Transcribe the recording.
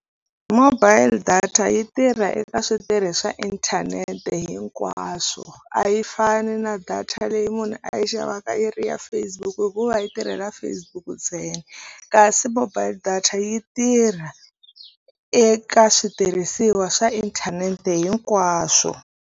Mobile data yi tirha eka switirhi swa inthanete hinkwaswo a yi fani na data leyi munhu a yi xavaka yi ri ya Facebook hikuva yi tirhela Facebook ntsena kasi mobile data yi tirha eka switirhisiwa swa inthanete hinkwaswo.